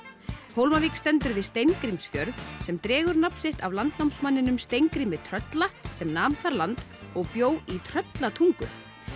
Hólmavík stendur við Steingrímsfjörð sem dregur nafn sitt af Steingrími trölla sem nam þar land og bjó í Tröllatungu